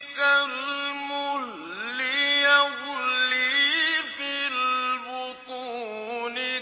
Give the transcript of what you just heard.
كَالْمُهْلِ يَغْلِي فِي الْبُطُونِ